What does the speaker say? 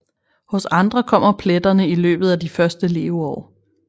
Hos andre kommer pletterne i løbet af de første leveår